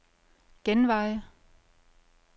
genvej